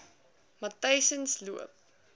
matyzensloop